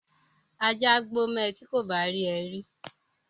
Ajá á gbó mọ ẹ ti kò bá rí ẹ rí